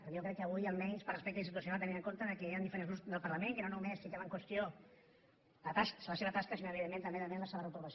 perquè jo crec que avui almenys per respecte institucional tenint en compte que hi han diferents grups del parlament que no només fiquem en qüestió la seva tasca sinó evidentment també demanem la seva reprovació